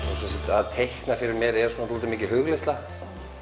að teikna fyrir mér er dálítið mikið hugleiðsla